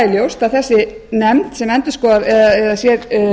ljóst er að nefndin sem sér